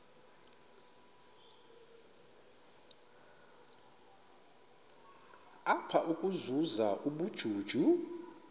apha ukuzuza ubujuju